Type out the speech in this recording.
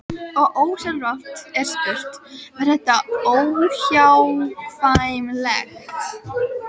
Og ósjálfrátt er spurt: Var þetta óhjákvæmilegt?